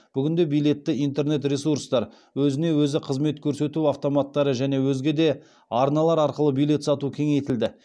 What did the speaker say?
бүгінде билетті интернет ресурстар өзіне өзі қызмет көрсету автоматтары және өзге де арналар арқылы билет сату кеңейтілді